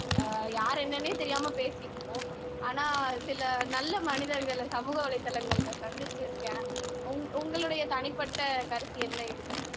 யார் என்னன்னே தெரியாம பேசிஇருப்போம் ஆனா சில நல்ல மனிதர்களை சமூக வலைதலங்கள்ல சந்திச்சிருக்கேன் உங் உங்களுடைய தனிப்பட்ட கருத்து என்ன இதுல